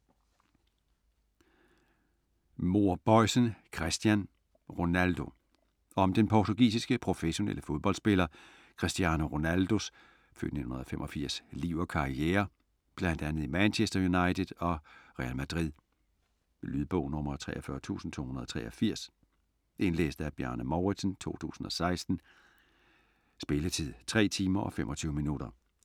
Mohr Boisen, Christian: Ronaldo Om den portugisiske, professionelle fodboldspiller Cristiano Ronaldos (f. 1985) liv og karriere bl.a. i Manchester United og Real Madrid. Lydbog 43283 Indlæst af Bjarne Mouridsen, 2016. Spilletid: 3 timer, 25 minutter.